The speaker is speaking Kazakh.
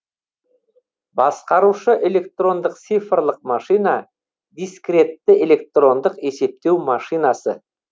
басқарушы электрондық цифрлық машина дискретті электрондық есептеу машинасы